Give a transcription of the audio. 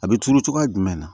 A bɛ turu cogoya jumɛn na